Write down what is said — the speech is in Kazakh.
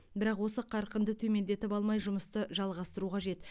бірақ осы қарқынды төмендетіп алмай жұмысты жалғастыру қажет